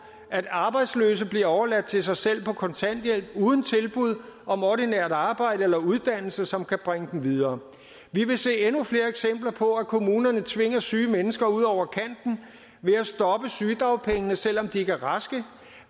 at arbejdsløse bliver overladt til sig selv på kontanthjælp uden tilbud om ordinært arbejde eller uddannelse som kan bringe dem videre vi vil se endnu flere eksempler på at kommunerne tvinger syge mennesker ud over kanten ved at stoppe sygedagpengene selv om de ikke er raske